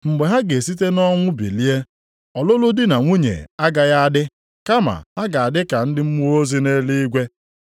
Mgbe ha ga-esite nʼọnwụ bilie, ọlụlụ di na nwunye agaghị a dị; kama ha ga-adị ka ndị mmụọ ozi nʼeluigwe.